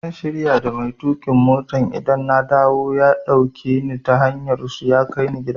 Zan shirya da mai tuƙin mota idan na dawo ya dauke ni ta hanyar su ya kai ni gida.